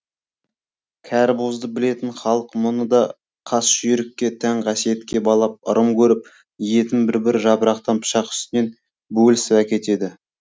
кәрібозды білетін халық мұны да қас жүйрікке тән қасиетке балап ырым көріп етін бір бір жапырақтан пышақ үстінен бөлісіп әкетеді